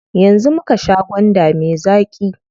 Yanzu muka sha gwanda me zaƙi.